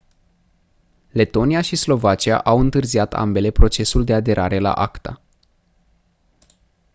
letonia și slovacia au întârziat ambele procesul de aderare la acta